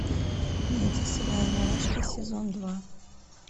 найти сериал мурашки сезон два